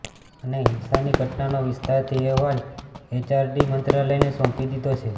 અને હિંસાની ઘટનાનો વિસ્તારથી અહેવાલ એચઆરડી મંત્રાલયને સોંપી દીધો છે